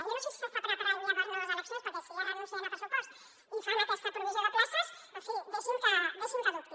jo no sé si s’està preparant ja per a noves eleccions perquè si ja renuncien al pressupost i fan aquesta provisió de places en fi deixi’m que dubti